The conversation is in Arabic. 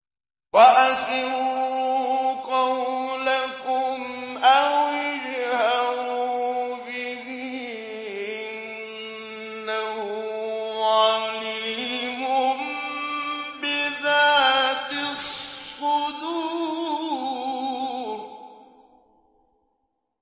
وَأَسِرُّوا قَوْلَكُمْ أَوِ اجْهَرُوا بِهِ ۖ إِنَّهُ عَلِيمٌ بِذَاتِ الصُّدُورِ